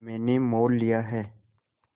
मैंने मोल लिया है